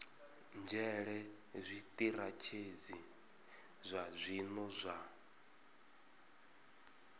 nzhele zwitirathedzhi zwa zwino zwa